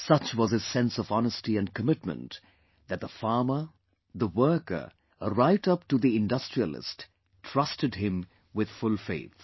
Such was his sense of honesty & commitment that the farmer, the worker right up to the industrialist trusted him with full faith